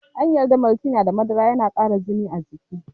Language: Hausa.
An yarda Maltina da madara na kara jini a jiki.